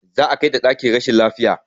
Za a kai ta ɗakin rashin lafiya